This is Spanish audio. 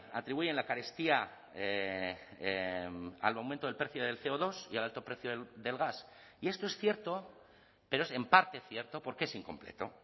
atribuyen la carestía al aumento del precio del ce o dos y al alto precio del gas y esto es cierto pero es en parte cierto porque es incompleto